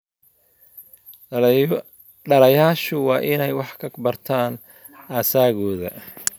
Dhallayaashu waa inay wax ka bartaan asaagooda.